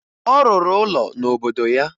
Ọ rụrụ ụlọ n'obodo ya